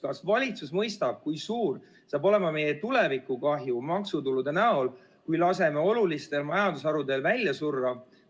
Kas valitsus mõistab, kui suur saab olema meie tulevikukahju maksutulude kahanemise näol, kui laseme olulistel majandusharudel välja surra?